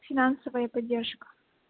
финансовая поддержка